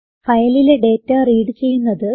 ഫയലിലെ data read ചെയ്യുന്നത്